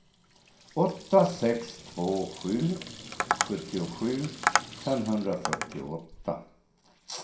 åtta sex två sju sjuttiosju femhundrafyrtioåtta